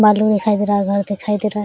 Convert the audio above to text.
बालू में दिखाई दे रहा है घर दिखाई दे रहा है।